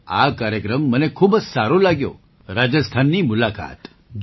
તો આ કાર્યક્રમ મને ખૂબ જ સારો લાગ્યો રાજસ્થાનની મુલાકાત